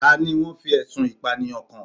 Ta ni wọ́n fi ẹ̀sùn Ìpànìyàn kàn?